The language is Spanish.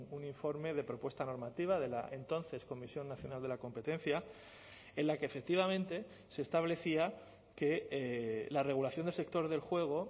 un informe de propuesta normativa de la entonces comisión nacional de la competencia en la que efectivamente se establecía que la regulación del sector del juego